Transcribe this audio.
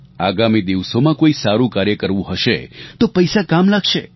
આગામી દિવસોમાં કોઇ સારું કાર્ય કરવું હશે તો પૈસા કામ લાગશે